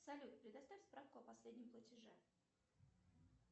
салют предоставь справку о последнем платеже